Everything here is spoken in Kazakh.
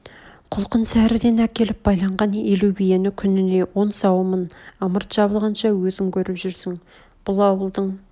құлқын сәрден әкеліп байланған елу биен күніне он сауамын ымырт жабылғанша өзің көріп жүрсің бұл ауылдың